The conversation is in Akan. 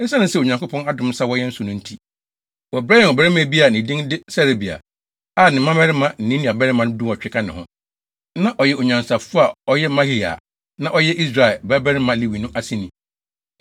Esiane sɛ Onyankopɔn adom nsa wɔ yɛn so no nti, wɔbrɛɛ yɛn ɔbarima bi a ne din de Serebia, a ne mmabarima ne ne nuabarimanom dunwɔtwe ka ne ho. Na ɔyɛ onyansafo a ɔyɛ Mahli a na ɔyɛ Israel babarima Lewi no aseni,